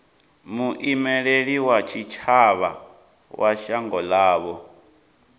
muimeli wa tshitshavha wa shango ḽavho